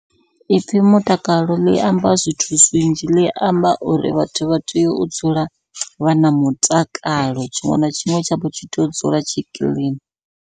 Ipfhi mutakalo ḽi amba zwithu zwinzhi, ḽi amba uri vhathu vha tea u dzula vha na mutakalo, tshiṅwe na tshiṅwe tshavho tshi tea u dzula tshi kiḽini.